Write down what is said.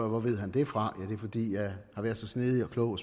hvor ved han det fra det er fordi jeg har været så snedig og klog